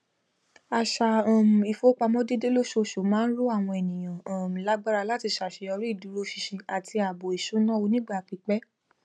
àṣà um ìfowópamọ déédé lóṣooṣù máa n ró àwọn ènìyàn um lágbára láti ṣàṣeyọrí ìdúróṣinṣin àti ààbò ìṣúná onígbà pípẹ